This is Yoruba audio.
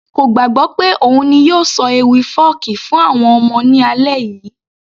kò gbàgbọ́ pé òun ni yóò ṣọ ewì fọ́ọ̀kí fún àwọn ọmọ ní alẹ́ yìí